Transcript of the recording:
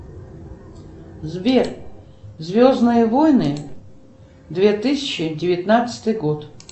сбер звездные войны две тысячи девятнадцатый год